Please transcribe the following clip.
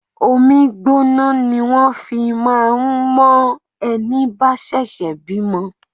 Omi gbóná ni wón fi máa ń mo ẹni bá ṣẹ̀ṣẹ̀ bímọ.